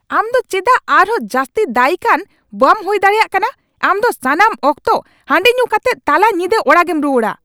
ᱟᱢ ᱫᱚ ᱪᱮᱫᱟᱜ ᱟᱨᱦᱚᱸ ᱡᱟᱹᱥᱛᱤ ᱫᱟᱹᱭᱤᱠ ᱟᱱ ᱵᱟᱢ ᱦᱩᱭ ᱫᱟᱲᱮᱭᱟᱜ ᱠᱟᱱᱟ ? ᱟᱢ ᱫᱚ ᱥᱟᱱᱟᱢ ᱚᱠᱛᱚ ᱦᱟᱹᱰᱤ ᱧᱩ ᱠᱟᱛᱮᱫ ᱛᱟᱞᱟ ᱧᱤᱫᱟᱹ ᱚᱲᱟᱜᱮᱢ ᱨᱩᱣᱟᱹᱲᱟ ᱾